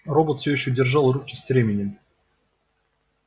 робот все ещё держал руки стременем